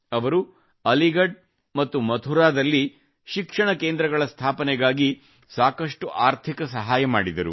ಅವರು ಅಲೀಗಢ್ ಮತ್ತು ಮಥುರಾದಲ್ಲಿ ಶಿಕ್ಷಣ ಕೇಂದ್ರಗಳ ಸ್ಥಾಪನೆಗಾಗಿ ಸಾಕಷ್ಟು ಆರ್ಥಿಕ ಸಹಾಯ ಮಾಡಿದರು